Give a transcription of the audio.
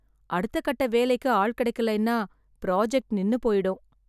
அடுத்த கட்ட வேலைக்கு ஆள் கிடைக்கலைன்னா ப்ராஜெக்ட் நின்னு போயிடும்